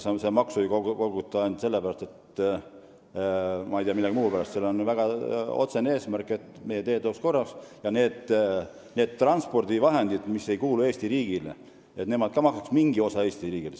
Sedagi maksu ei koguta millegi muu pärast, sellel on väga otsene eesmärk – et meie teed oleks korras ja need transpordivahendid, mis ei kuulu Eesti riigile, maksaks ka mingit tasu meie riigile.